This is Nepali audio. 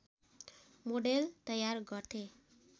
मोडेल तयार गर्थे